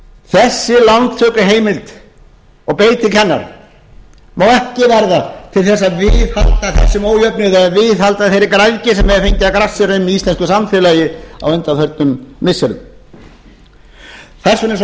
þessi lántökuheimild og beiting hennar má ekki verða til þess að viðhalda þessum ójöfnuði eða viðhalda þeirri græðgi sem hefur fengið að grassera um í íslensku samfélagi á undanförnum missirum þess vegna er svo